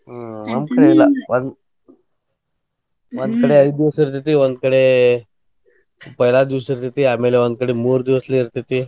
ಹ್ಮ್ ಒಂದ್ ಕಡೆ ಐದ್ ದಿವ್ಸ ಇರ್ತೇತಿ. ಒಂದ್ ಕಡೆ ಬಹಳ ದಿವ್ಸ್ ಇರ್ತೇತಿ. ಆಮೇಲೆ ಒಂದ್ ಕಡೆ ಮೂರ್ ದಿವ್ಸ ಇರ್ತೇತಿ.